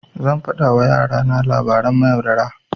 Zan faɗa wa yara na labaran mayaudara.